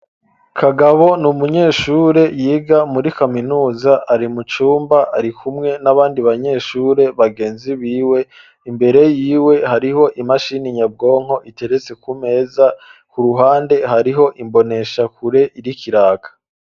kagabo ni umunyeshure yiga muri kaminuza ari mucumba ari kumwe n'abandi banyeshure bagenzi biwe imbere yiwe hariho imashini nyabwonko iteretse kumeza ku ruhande hariho imboneshakure iriko iraka.